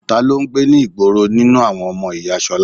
Ta ló ń gbé ní ìgboro nínú àwọn ọmọ ìyá ṣolá?